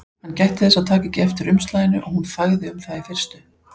Hann gætti þess að taka ekki eftir umslaginu og hún þagði um það í fyrstu.